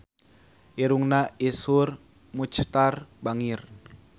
Irungna Iszur Muchtar bangir